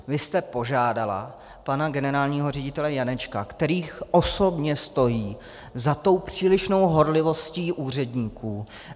Vy jste požádala pana generálního ředitele Janečka, který osobně stojí za tou přílišnou horlivostí úředníků.